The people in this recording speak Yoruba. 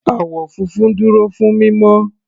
Àwọ̀ funfun dúró fún mímọ́.